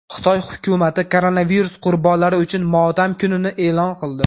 Xitoy hukumati koronavirus qurbonlari uchun motam kunini e’lon qildi.